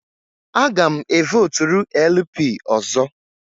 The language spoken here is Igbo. Aga m e votụrụ LP ọzọ.